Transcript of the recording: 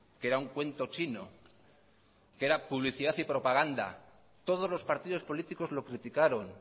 que era un cuento chino que era publicidad y propaganda todos los partidos políticos lo criticaron